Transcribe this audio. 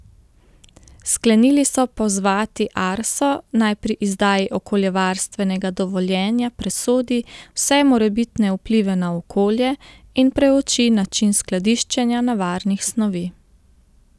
Sklenili so pozvati Arso, naj pri izdaji okoljevarstvenega dovoljenja presodi vse morebitne vplive na okolje in preuči način skladiščenja nevarnih snovi.